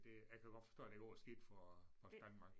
Det jeg kan forstå at det går skidt for Post Danmark